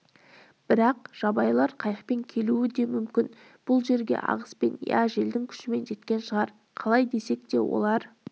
бірақ жабайылар қайықпен келуі де мүмкін бұл жерге ағыспен я желдің күшімен жеткен шығар қалай десек те олар